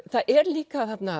það er líka þarna